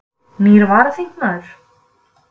Nýr varaþingmaður